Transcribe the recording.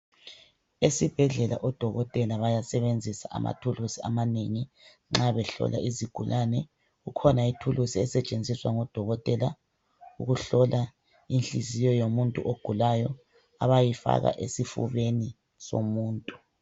Esibhedlela odokotela bayasebenzisa amathuluzi amanengi nxa behlola izigulane. Kukhona ithulusi esetshenziswa ngodokotela ukuhlola inhliziyo yomuntu ogulayo abayifaka esifubeni somuntu.